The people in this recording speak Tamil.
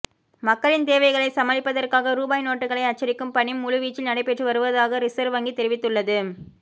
மக்களின் தேவைகளைச் சமாளிப்பதற்காக ரூபாய் நோட்டுகளை அச்சடிக்கும் பணி முழுவீச்சில் நடைபெற்று வருவதாக ரிசர்வ் வங்கி தெரிவித்துள்ளது